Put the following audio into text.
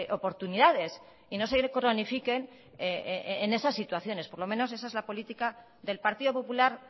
oportunidades y no se cronifiquen en esas situaciones por lo menos esa es la política del partido popular